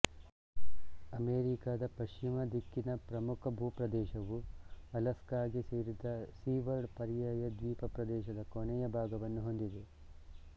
ಅಮೆರಿಕದ ಪಶ್ಚಿಮ ದಿಕ್ಕಿನ ಪ್ರಮುಖ ಭೂಪ್ರದೇಶವು ಅಲಸ್ಕಾಗೆ ಸೇರಿದ ಸಿವರ್ಡ್ ಪರ್ಯಾಯ ದ್ವೀಪ ಪ್ರದೇಶದ ಕೊನೆಯ ಭಾಗವನ್ನು ಹೊಂದಿದೆ